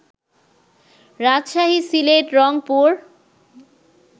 Rajshahi, Sylhet, Rangpur